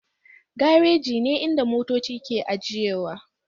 Garaji ne inda motoci ke ajiyewa